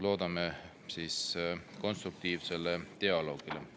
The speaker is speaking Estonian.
Loodame konstruktiivset dialoogi.